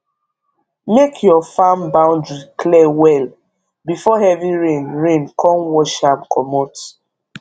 make your farm boundary clear well before heavy rain rain come wash am commot